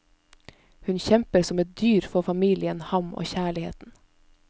Hun kjemper som et dyr for familien, ham og kjærligheten.